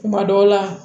Kuma dɔw la